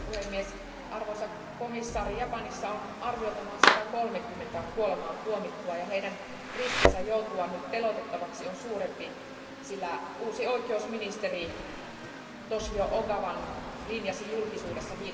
Arvoisa puhemies, arvoisa komissaari, Japanissa on arviolta noin 130 kuolemaantuomittua ja heidän riskinsä joutua nyt teloitettavaksi on suurempi, sillä uusi oikeusministeri Toshio Ogawan linjasi julkisuudessa